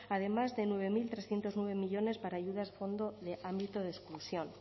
además de nueve mil trescientos nueve millónes para ayudas fondo de ámbito de exclusión